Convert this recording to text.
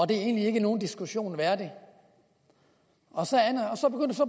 det egentlig ikke er nogen diskussion værdig og så